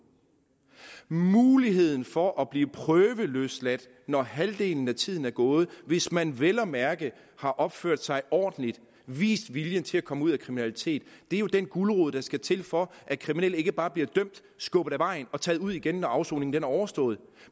muligheden for at blive prøveløsladt når halvdelen af tiden er gået hvis man vel at mærke har opført sig ordentligt og vist vilje til at komme ud af kriminaliteten er jo den gulerod der skal til for at kriminelle ikke bare bliver dømt skubbet af vejen og taget ud igen når afsoningen er overstået